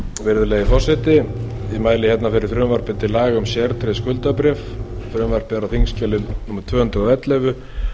virðulegi forseti ég mæli hérna fyrir frumvarpi til laga um sértryggð skuldabréf frumvarpið er á þingskjali númer tvö hundruð og ellefu